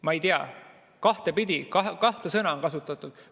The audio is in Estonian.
Ma ei tea, kahte sõna on kasutatud.